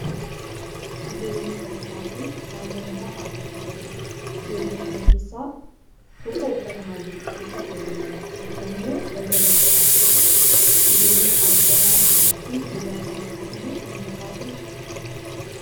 Ijoolleen sadii taatee naannoo manaa dhaabbachaa jirti. Ijoollee kana keessa tokko uffata halluu cuquliisaa uffatee jira, tokko immoo balbala irra dhaabachaa jira. Ijoolleen argamaa jiran kun ijoollee abbaa tokkooti moo kan alagaati?